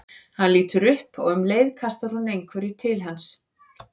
Hann lítur upp og um leið kastar hún einhverju til hans.